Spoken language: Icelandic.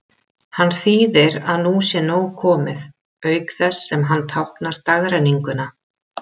Hann þýðir að nú sé nóg komið, auk þess sem hann táknar dagrenninguna.